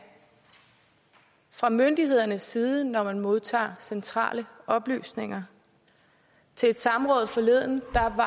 fra myndighedernes side når man modtager centrale oplysninger til et samråd forleden havde